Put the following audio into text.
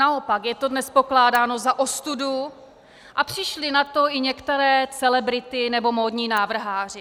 Naopak je to dnes pokládáno za ostudu a přišly na to i některé celebrity nebo módní návrháři.